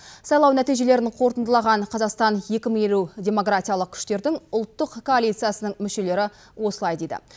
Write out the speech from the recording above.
сайлау нәтижелерін қорытындылаған қазақстан екі мың елу демократиялық күштердің ұлттық коалициясының мүшелері осылай дейді